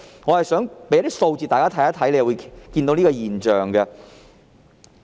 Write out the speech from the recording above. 我想提供一些數字，讓大家看到一個現象。